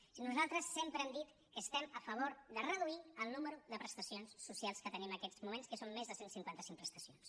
o sigui nosaltres sempre hem dit que estem a favor de reduir el nombre de prestacions socials que tenim en aquests moments que són més de cent i cinquanta cinc prestacions